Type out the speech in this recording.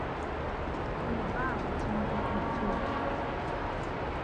ó lọ bá àwọn tó ń bójú tó